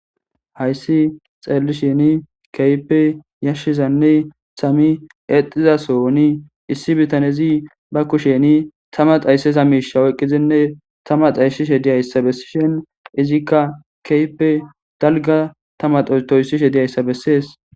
Hayssi xeelli sheni keype yashshizanne sami exizasooni issi bitanezi ba kusheni tama xaysseza miisha oyqqizinne tama xayssishe diyayssa bessishen izikka keype dalga tama toyssishe diyayssa bessees